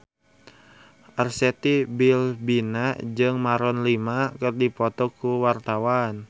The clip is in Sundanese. Arzetti Bilbina jeung Maroon 5 keur dipoto ku wartawan